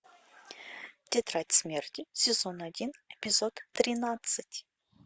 тетрадь смерти сезон один эпизод тринадцать